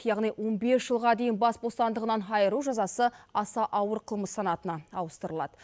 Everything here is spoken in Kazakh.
яғни он бес жылға дейін бас бостандығынан айыру жазасы аса ауыр қылмыс санатына ауыстырылады